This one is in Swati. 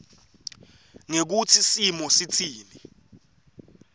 ngekutsi simo sitsini